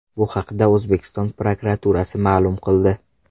Bu haqda O‘zbekiston prokuraturasi ma’lum qildi .